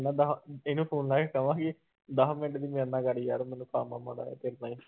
ਇਹਨੂੰ phone ਲਾ ਕੇ ਕਵਾਂਗੇ ਦਸ ਮਿੰਟ ਦੀ ਮੇਰੇ ਕਰ ਯਾਰ ਮੈਨੂੰ ਕੰਮ ਆ ਮਾੜਾ ਜਿਹਾ